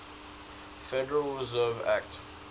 federal reserve act